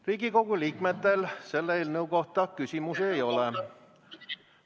Riigikogu liikmetel selle eelnõu kohta küsimusi ei ole.